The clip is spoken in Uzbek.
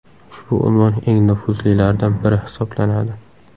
Ushbu unvon eng nufuzlilaridan biri hisoblanadi.